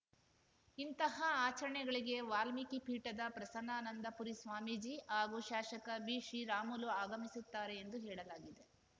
ಇಂಥಹ ಆಚರಣೆಗಳಿಗೆ ವಾಲ್ಮೀಕಿ ಪೀಠದ ಪ್ರಸನ್ನಾನಂದ ಪುರಿ ಸ್ವಾಮೀಜಿ ಹಾಗೂ ಶಾಸಕ ಬಿಶ್ರೀರಾಮುಲು ಆಗಮಿಸುತ್ತಾರೆ ಎಂದು ಹೇಳಲಾಗಿದೆ